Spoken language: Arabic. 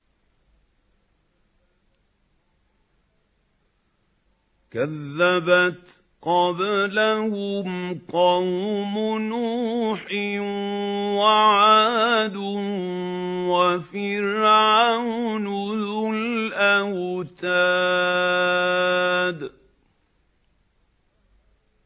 كَذَّبَتْ قَبْلَهُمْ قَوْمُ نُوحٍ وَعَادٌ وَفِرْعَوْنُ ذُو الْأَوْتَادِ